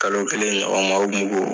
Kalo kelen ɲɔgɔn ma